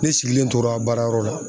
Ne sigilen tora baarayɔrɔ la.